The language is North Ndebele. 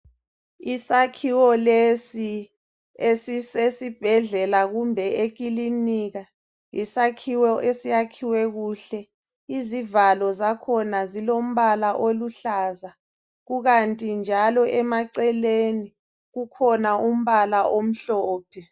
Isakhiwo lesi esisesibhedlela kumbe ekilinika, yisakhiwo esiyakhiwe kuhle, izivalo zakhona zilombala oluhlaza kukanti njalo emaceleni kukhona umbala omhlophe.